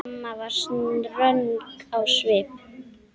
Amma var ströng á svip.